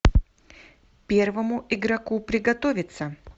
первому игроку приготовиться